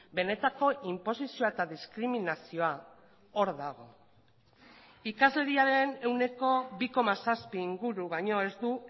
benetako inposizioa eta diskriminazioa hor dago ikasleriaren ehuneko bi koma zazpi inguru baino ez du